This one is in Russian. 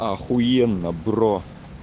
ахуенно бро